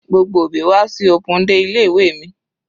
Gbogbo òbí wá sí open day ilé ìwé mi.